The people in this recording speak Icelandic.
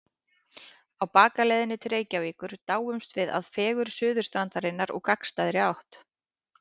Á bakaleiðinni til Reykjavíkur dáumst við að fegurð Suðurstrandarinnar úr gagnstæðri átt.